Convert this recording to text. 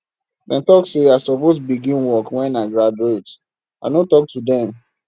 dem talk sey i suppose begin work wen i graduate i no talk to dem